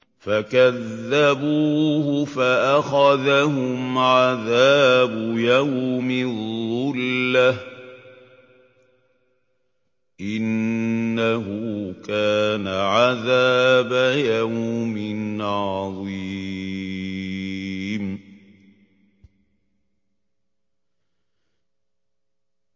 فَكَذَّبُوهُ فَأَخَذَهُمْ عَذَابُ يَوْمِ الظُّلَّةِ ۚ إِنَّهُ كَانَ عَذَابَ يَوْمٍ عَظِيمٍ